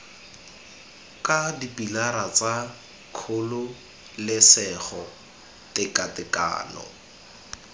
ka dipilara tsa kgololesego tekatekano